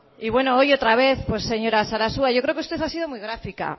y hoy otra vez pues señora sarasua yo creo que usted ha sido muy gráfica